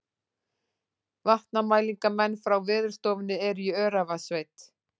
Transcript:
Vatnamælingamenn frá Veðurstofunni eru í Öræfasveit